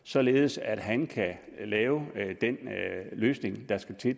således at han kan lave den løsning der skal til